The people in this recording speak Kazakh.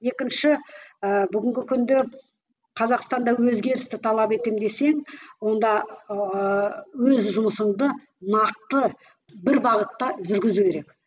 екінші ыыы бүгінгі күнде қазақстанда өзгерісті талап етемін десең онда ыыы өз жұмысыңда нақты бір бағытта жүргізу керек